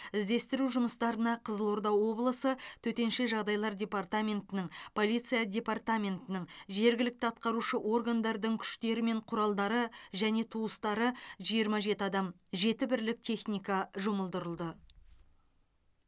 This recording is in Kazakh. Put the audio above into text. іздестіру жұмыстарына қызылорда облысы төтенше жағдайлар департаментінің полиция департаментінің жергілікті атқарушы органдардың күштері мен құралдары және туыстары жиырма жеті адам жеті бірлік техника жұмылдырылды